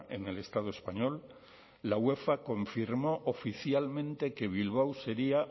en el estado español la uefa confirmó oficialmente que bilbao sería